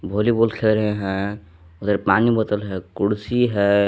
Volleyball खेल रहे हैं उधर पानी बोतल है कुर्सी है।